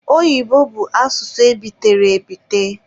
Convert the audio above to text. Oyibo bụ asụsụ ebitere ebite.